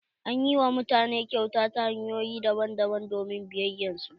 An ƴi wa mutane kyauta ta hanyoƴi daban daban domin biyayyar su.